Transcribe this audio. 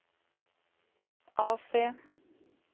AC